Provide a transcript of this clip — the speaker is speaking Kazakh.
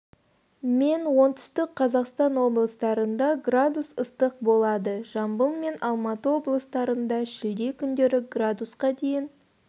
мен оңтүстік қазақстан облыстарында градус ыстық болады жамбыл мен алматы облыстарында шілде күндері градусқа дейін